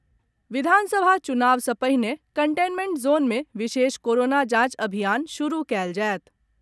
विधानसभा चुनाव सँ पहिने कंटेनमेंट जोन मे विशेष कोरोना जांच अभियान शुरू कयल जायत।